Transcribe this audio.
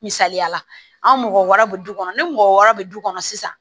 Misaliyala anw mɔgɔ wɛrɛw bɛ du kɔnɔ ni mɔgɔ wɔɔrɔ bɛ du kɔnɔ sisan